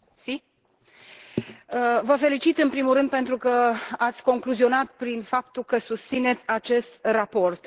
Doamnă Reda, vă felicit în primul rând pentru că ați concluzionat prin faptul că susțineți acest raport.